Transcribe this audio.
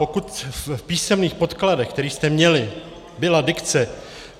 Pokud v písemných podkladech, které jste měli, byla dikce